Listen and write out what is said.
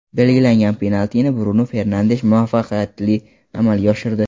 Belgilangan penaltini Brunu Fernandesh muvaffaqiyatli amalga oshirdi.